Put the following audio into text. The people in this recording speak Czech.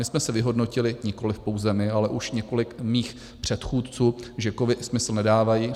My jsme si vyhodnotili, nikoliv pouze my, ale už několik mých předchůdců, že kovy smysl nedávají.